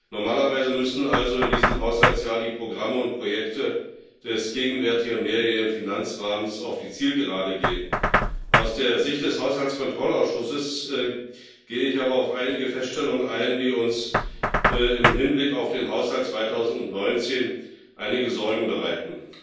Normalerweise müssten also in diesem Haushaltsjahr die Programme und Projekte des gegenwärtigen mehrjährigen Finanzrahmens auf die Zielgerade gehen. Aus der Sicht des Haushaltskontrollausschusses gehe ich aber auf einige Feststellungen ein, die uns im Hinblick auf den Haushalt 2019 einige Sorgen bereiten.